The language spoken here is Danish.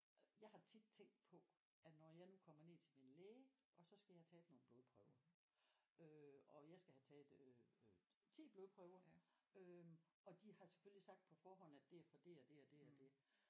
Jeg har tit tænkt på at når jeg nu kommer ned til min læge og så skal jeg have taget nogle blodprøver øh og jeg skal have taget øh 10 blodprøver øh og de har selvfølgelig sagt på forhånd at det er for det og det og det og det